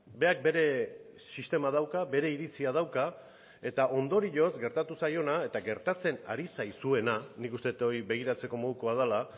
berak bere sistema dauka bere iritzia dauka eta ondorioz gertatu zaiona eta gertatzen ari zaizuena nik uste dut hori begiratzeko modukoa dela